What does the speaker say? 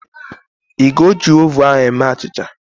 Ị ga-eji oven ahu eme achịcha?